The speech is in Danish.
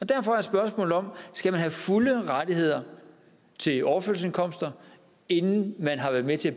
derfor er spørgsmålet om man skal have fulde rettigheder til overførselsindkomster inden man har været med til at